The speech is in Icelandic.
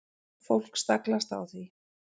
Fólk staglast á því.